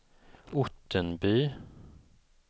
Ottenby